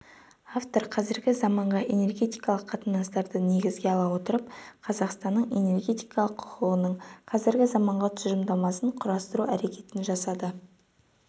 автор қазіргі заманғы энергетикалық қатынастарды негізге ала отырып қазақстанның энергетикалық құқығының қазіргі заманғы тұжырымдамасын құрастыру әрекетін жасады